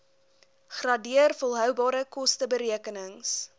gradeer volhoubare kosteberekenings